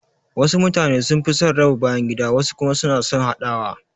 Wasu mutane sun fi son raba bayangida wasu kuma suna son haɗawa